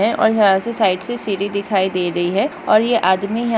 और यहाँ से साइड से सीडी दिखाई दे रही है और यह आदमी है।